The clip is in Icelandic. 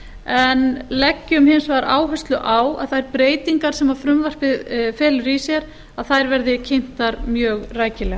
en leggjum hins vegar áherslu að þær breytingar sem frumvarpið felur í sér að þær verði kynntar mjög rækilega